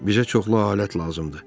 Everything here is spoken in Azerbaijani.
Bizə çoxlu alət lazımdır.